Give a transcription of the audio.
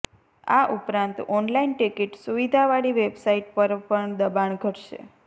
આ ઉપરાંત online ticket સુવિધા વાળી વેબસાઈટ પર પણ દબાણ ઘટશે